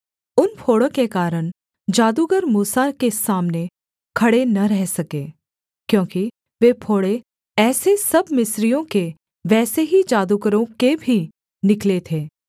उन फोड़ों के कारण जादूगर मूसा के सामने खड़े न रह सके क्योंकि वे फोड़े जैसे सब मिस्रियों के वैसे ही जादूगरों के भी निकले थे